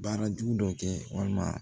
Baara jugu dɔ kɛ walima